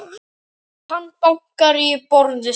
Hann bankar í borðið.